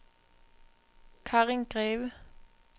Karin Greve